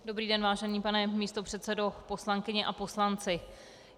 Dobrý den, vážený pane místopředsedo, poslankyně a poslanci.